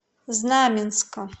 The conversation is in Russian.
знаменска